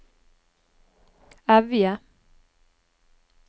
Evje